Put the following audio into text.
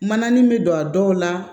Mananin bɛ don a dɔw la